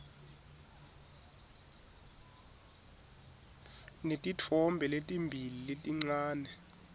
netitfombe letimbili letincane